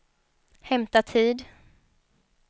hämta tid